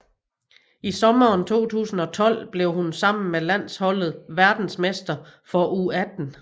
I sommeren 2012 blev hun sammen med landsholdet verdensmester for U18